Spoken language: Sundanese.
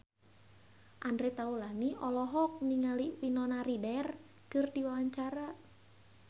Andre Taulany olohok ningali Winona Ryder keur diwawancara